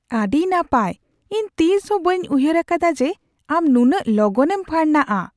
ᱟᱹᱰᱤ ᱱᱟᱯᱟᱭ ! ᱤᱧ ᱛᱤᱥᱦᱚᱸ ᱵᱟᱹᱧ ᱩᱭᱦᱟᱹᱨ ᱟᱠᱟᱫᱟ ᱡᱮ ᱟᱢ ᱱᱩᱱᱟᱹᱜ ᱞᱚᱜᱚᱱᱮᱢ ᱯᱷᱟᱨᱱᱟᱜᱼᱟ ᱾